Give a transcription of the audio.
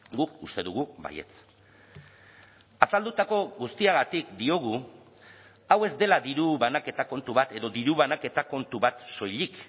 guk uste dugu baietz azaldutako guztiagatik diogu hau ez dela diru banaketa kontu bat edo diru banaketa kontu bat soilik